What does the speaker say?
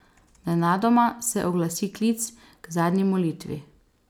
Nenadoma se oglasi klic k zadnji molitvi.